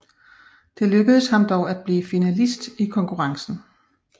Det lykkedes ham dog at blive finalist i konkurrencen